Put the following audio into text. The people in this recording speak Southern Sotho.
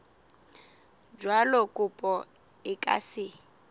jwalo kopo e ka se